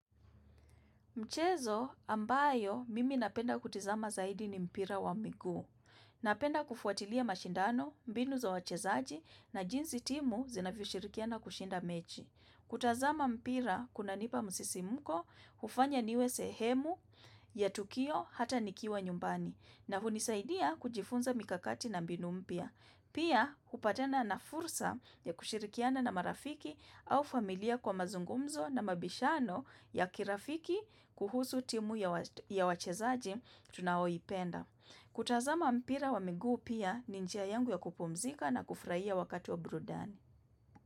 Mchezo ambayo mimi napenda kutizama zaidi ni mpira wa miguu. Napenda kufuatilia mashindano, mbinu za wachezaji na jinsi timu zinavyoshirikiana kushinda mechi. Kutazama mpira kunanipa msisimko, hufanya niwe sehemu ya tukio hata nikiwa nyumbani na hunisaidia kujifunza mikakati na mbinu mpya. Pia, hupatana na fursa ya kushirikiana na marafiki au familia kwa mazungumzo na mabishano ya kirafiki kuhusu timu ya wachezaji tunaoipenda. Kutazama mpira wa miguu pia ni njia yangu ya kupumzika na kufurahia wakati wa burudani.